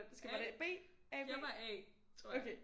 A jeg var A tror jeg